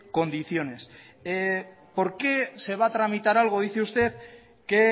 condiciones por qué se va a tramitar algo dice usted que